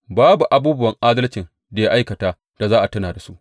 Babu abubuwan adalcin da ya aikata da za a tuna da su.